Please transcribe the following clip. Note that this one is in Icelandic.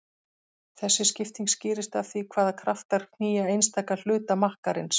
Þessi skipting skýrist af því hvaða kraftar knýja einstaka hluta makkarins.